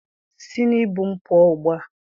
Si n' ibu m pụọ ugbua!